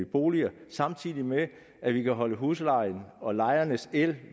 boliger samtidig med at vi kan holde huslejen og lejernes el